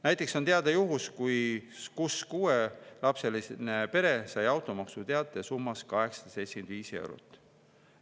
Näiteks on teada juhus, kus kuuelapseline pere sai automaksu summas 875 eurot.